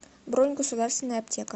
бронь государственная аптека